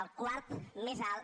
el quart més alt